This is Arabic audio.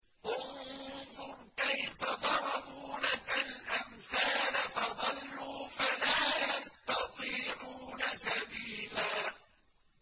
انظُرْ كَيْفَ ضَرَبُوا لَكَ الْأَمْثَالَ فَضَلُّوا فَلَا يَسْتَطِيعُونَ سَبِيلًا